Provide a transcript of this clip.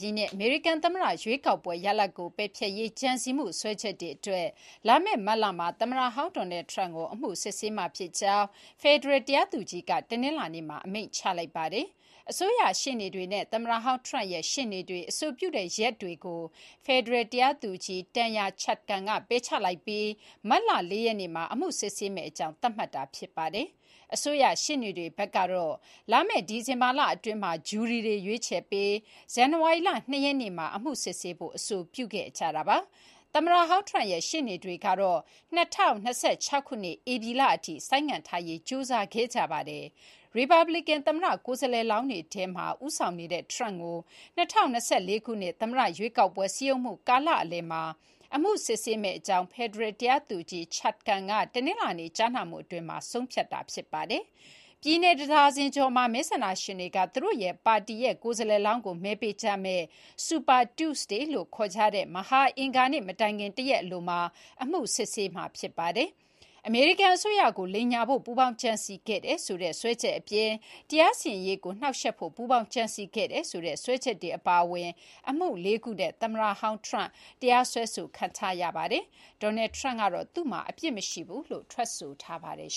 ြည့်နှစ် အမေရိကန်သမ္မတရွေးကောက်ပွဲရလဒ်ကို ပယ်ဖျက်ရေး ကြံစည်မှုစွဲချက်တွေအတွက် လာမယ့်မတ်လမှာ သမ္မတဟောင်း Donald Trump ကို အမှုစစ်ဆေးမှာဖြစ်ကြောင်း ဖယ်ဒရယ်တရားသူကြီးက တနင်္လာနေ့မှာ အမိန့်ချလိုက်ပါတယ်။ အစိုးရရှေ့နေတွေနဲ့ သမ္မတဟောင်း Trump ရဲ့ ရှေ့နေတွေ အဆိုပြုတဲ့ ရက်တွေကို ဖယ်ဒရယ်တရားသူကြီး Tanya Chutkan က ပယ်ချလိုက်ပြီး မတ်လ ၄ ရက်နေ့မှာ အမှုစစ်ဆေးမယ့်အကြောင်း သတ်မှတ်လိုက်တာ ဖြစ်ပါတယ်။ အစိုးရရှေ့နေတွေဘက်ကတော့ လာမယ့် ဒီဇင်ဘာလ အတွင်းမှာ ဂျူရီတွေရွေးချယ်ပြီး ဇန်နဝါရီလ ၂ ရက်နေ့မှာ အမှုစစ်ဆေးဖို့ အဆိုပြုခဲ့ကြတာပါ။ သမ္မတဟောင်း Trump ရဲ့ ရှေ့နေတွေကတော့ ၂၀၂၆ ဧပြီလအထိ ဆိုင်းငံ့ထားရေးကြိုးစားခဲ့ကြပါတယ်။ ရီပတ်ပလီကန် သမ္မတကိုယ်စားလှယ်လောင်းတွေထဲမှာ ဦးဆောင်နေတဲ့ Trump ကို ၂၀၂၄ ခုနှစ် သမ္မတရွေးကောက်ပွဲ စည်းရုံးမှုကာလအလယ်မှာ အမှုစစ်ဆေးမယ့်အကြောင်း ဖယ်ဒရယ်တရားသူကြီး Chutkan က တနင်္လာနေ့ ကြားနာမှုအတွင်း ဆုံးဖြတ်ခဲ့တာ ဖြစ်ပါတယ်။ ပြည်နယ် တဒါဇင်ကျော်မှာ မဲဆန္ဒရှင်တွေက သူတို့ပါတီရဲ့ ကိုယ်စားလှယ်လောင်းကို မဲပေးကြမယ့် Super Tuesday လို့ ခေါ်ကြတဲ့ မဟာအင်္ဂါနေ့မတိုင်ခင် တရက်အလိုမှာ အမှုစစ်ဆေးမှာဖြစ်ပါတယ်။ အမေရိကန်အစိုးရကိုလိမ်ညာဖို့ ပူးပေါင်းကြံစည်ခဲ့တယ်ဆိုတဲ့ စွဲချက်အပြင် တရားစီရင်ရေးကိုနှောက့်ယှက်ဖို့ ပူးပေါင်းကြံစည်ခဲ့တယ်ဆိုတဲ့ စွဲချက်တွေပါဝင်တဲ့အမှုလေးခုနဲ့ သမ္မတဟောင်း Trump တရားစွဲခံထားရပါတယ်။ Donald Trump ကတော့ သူ့မှာ အပြစ်မရှိဘူးလို့ ထွက်ဆိုထားပါတယ်